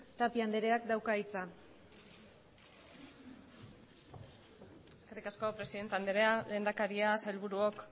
tapia andereak dauka hitza eskerrik asko presidente anderea lehendakariak sailburuok